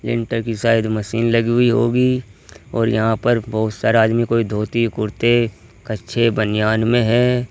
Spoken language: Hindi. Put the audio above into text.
की साइड मशीन लगी हुई होगी और यहां पर बहुत सारा आदमी कोई धोती कुर्ते कच्छे बनियान में है।